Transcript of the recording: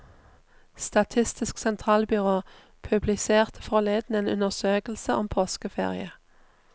Statistisk sentralbyrå publiserte forleden en undersøkelse om påskeferie.